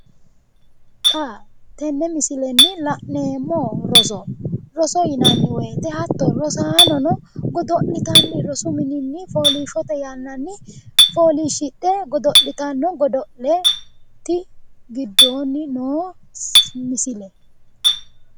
Xa tenne misilenni la'neemmo rosoho. Roso yinanni woyiite rosaanono godo'litanni rosu mininni fooliishshote yannanni fooliishidhe godo'litanno godo'leeti giddoonni noo misile.